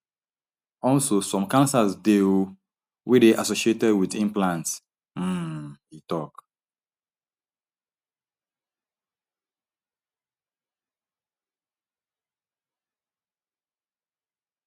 also some cancers dey um wey dey associated wit implants um e tok